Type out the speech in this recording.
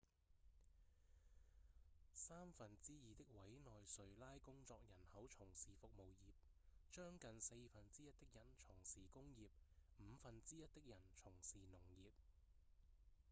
三分之二的委內瑞拉工作人口從事服務業將近四分之一的人從事工業五分之一的人從事農業